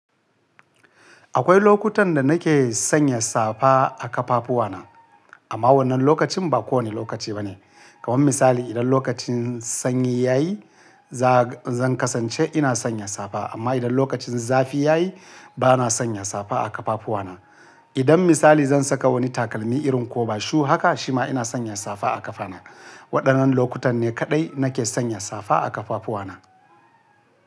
Akwai lokutan da nake sanya safa a ƙafafuwa na, amma wannan lokacin ba kowane lokaci ba ne. Kaman misali idan lokacin sanyi ya yi, za- zan kasance ina sanya safa, amma idan lokacin zafi ya yi, ba na sanya safa a ƙafafuwa na. Idan misali zan saka wani takalmi irin ko-ba-shu haka, shi ma ina sanya safa a ƙafana. Waɗannan lokutan ne kaɗai nake sanya safa a ƙafafuwa na.